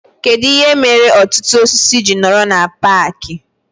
Kedụ ihe mere ọtụtụ osisi ji nọrọ na paaki